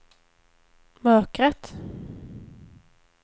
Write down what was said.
mörkret